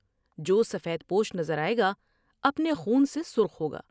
جو سفید پوش نظر آۓ گا اپنے خون سے سرخ ہوگا ۔